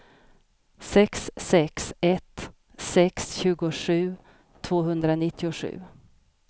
sex sex ett sex tjugosju tvåhundranittiosju